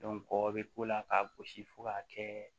kɔ bɛ k'o la k'a gosi fo k'a kɛ